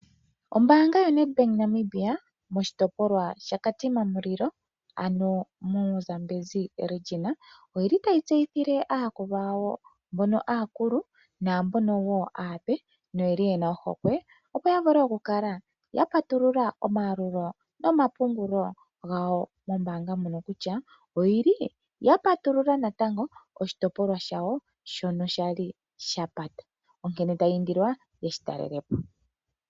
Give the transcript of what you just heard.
Ombaanga yoNedbank Namibia moshitopolwa shaKatima Mulilo, ano moShitopolwahogololo shaZambezi otayi tseyitthile aayakulwa yawo aakulu naape noye li ye na ohokwe, opo ya kale ya patulula omayalulo nomapungulo gawo mombaanga ndjika kutya oya patulula oshitayi shawo shono sha li sha pata. Otaya indilwa nduno opo ye shi talele po.